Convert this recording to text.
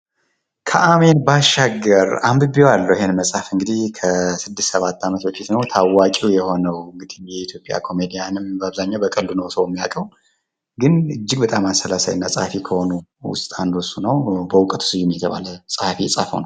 ከአሜን ባሻገር! አንብቤዋለሁ እንግዲህ እሄን መፅሀፍ ከስድስት ሰባት ዓመት በፊት ነው ።ታዋቂ የሆነው የኢትዮጵያ ኮሜድያን አብዛኛውን በቀልዱ ነው ሰው ሚያቀው ።ግን በጣም አሰላሳይና ፀሀፊ ከሆኑት ሰዎች ውስጥ አንዱ እሱ ነው በውቀቱ ስዩም የተባለ ፀሀፊ የፃፈው ነው።